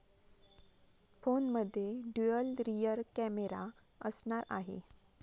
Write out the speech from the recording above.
फोनमध्ये dual rear camera असणार आहे.